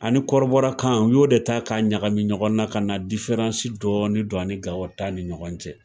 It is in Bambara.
Ani kɔrɔbɔrɔ kan u y'o de ta ka ɲagami ɲɔgɔn na ka na dɔɔni don ani Gawo ta ni ɲɔgɔn cɛ.